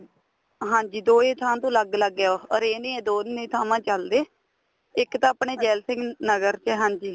ਹਾਂਜੀ ਦੋਏ ਥਾ ਤੋਂ ਅੱਲਗ ਅੱਲਗ ਏ ਉਹ orange ਈ ਏ ਦੋਨੇ ਥਾਵਾ ਤੇ ਚਲਦੇ ਇੱਕ ਤਾਂ ਆਪਣੇ ਜੈਲ ਸਿੰਘ ਨਗਰ ਚ ਏ ਹਾਂਜੀ